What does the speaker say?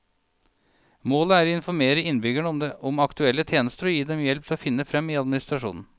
Målet er å informere innbyggerne om aktuelle tjenester og gi dem hjelp til å finne frem i administrasjonen.